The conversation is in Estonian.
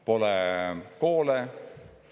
Pole koole.